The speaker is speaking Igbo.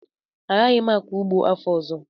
Agaghị m akọ ụgbọ afọ ọzọ